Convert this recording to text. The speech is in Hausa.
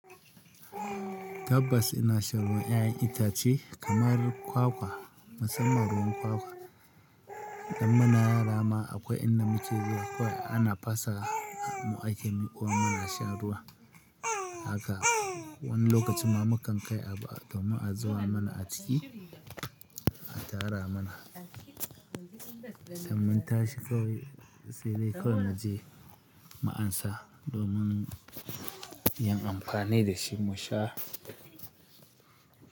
Tabbas ina shan ruwan 'ya'yan itace kamar kwakwa, musamman ruwan kwakwa. Dan muna yara ma akwai in da muke zuwa ana fasa mu ake miƙo wa muna shan ruwa. Haka wani lokacin ma mukan kai abu domin a zuba mana a ciki, a tara mana. Idan mun tashi kawai sai dai kawai muje mu amsa domin yin amfani da shi mu sha.